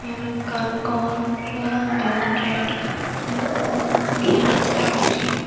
em ekkan gor se goranot degongotte emm um manuj agon seyet.